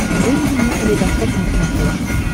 выведи мне калейдосоп на смотрешке